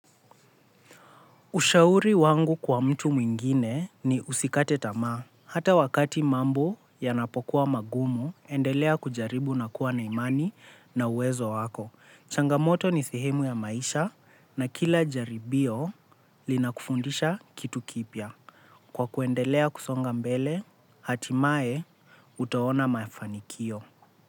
Ushauri wangu kwa mtu mwingine ni usikate tamaa. Hata wakati mambo yanapokuwa magumu, endelea kujaribu na kuwa na imani na uwezo wako. Changamoto ni sehemu ya maisha na kila jaribio linakufundisha kitu kipya. Kwa kuendelea kusonga mbele, hatimaye utaona mafanikio.